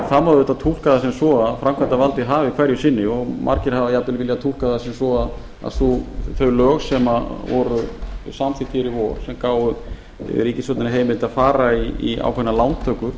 það má auðvitað túlka það sem svo að framkvæmdarvaldið hafi hverju sinni og margir hafa jafnvel viljað túlka það sem svo að þau lög sem voru samþykkt hér í vor sem gáfu ríkisstjórninni heimild að fara í ákveðnar lántökur